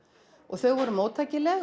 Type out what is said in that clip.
þau voru